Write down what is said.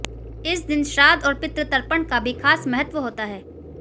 इस दिन श्राद्ध और पितृ तर्पण का भी खास महत्व होता है